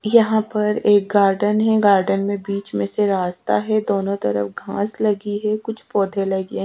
यहा पर एक गार्डन है गार्डन में बीच मेसे रास्ता है दोनों तरफ घास लगी है कुछ पौधे लगे है।